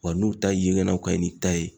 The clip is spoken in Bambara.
Wa n'u ta yeɲanaw kaɲi n'i ta ye